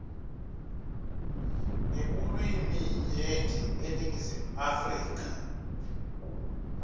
ngebulwiminyenti eningizimu afrika